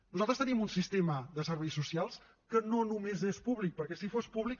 nosaltres tenim un sistema de serveis socials que no només és públic perquè si fos públic